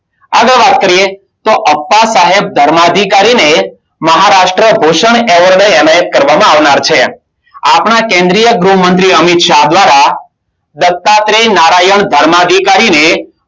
આગળ વાત કરીએ તો, અપ્પા સાહેબ ધર્માધિકારી ને મહારાષ્ટ્ર ભૂષણ એવોર્ડ એનાયત કરવામાં આવનાર છે. આપણા કેન્દ્રીય ગૃહ મંત્રી અમિત શાહ દ્વારા દત્તાત્રે નારાયણ ધર્મ અધિકારીને